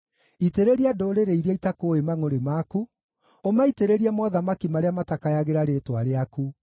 Itĩrĩria ndũrĩrĩ iria itakũũĩ mangʼũrĩ maku, ũmaitĩrĩrie mothamaki marĩa matakayagĩra rĩĩtwa rĩaku;